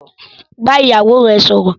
Bá ìyàwó rẹ sọ̀rọ̀